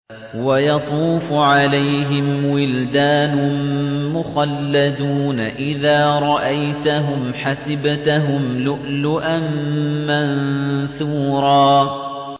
۞ وَيَطُوفُ عَلَيْهِمْ وِلْدَانٌ مُّخَلَّدُونَ إِذَا رَأَيْتَهُمْ حَسِبْتَهُمْ لُؤْلُؤًا مَّنثُورًا